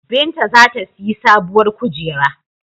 Binta za ta siyi sabuwar kujera.